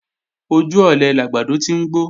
Ojú ọ̀lẹ làgbàdo ti ń gbó